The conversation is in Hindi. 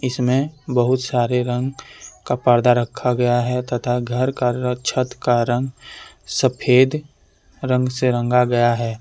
इसमें बहुत सारे रंग का पर्दा रखा गया है तथा घर का छत का रंग सफेद रंग से रंगा गया है।